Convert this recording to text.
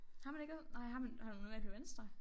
Har man ikke nej har man har man normalt på venstre?